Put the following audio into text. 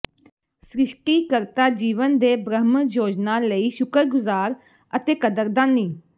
ਸ੍ਰਿਸ਼ਟੀਕਰਤਾ ਜੀਵਨ ਦੇ ਬ੍ਰਹਮ ਯੋਜਨਾ ਲਈ ਸ਼ੁਕਰਗੁਜ਼ਾਰ ਅਤੇ ਕਦਰਦਾਨੀ